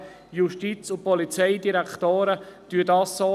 Die KKPKS empfiehlt dies entsprechend auch.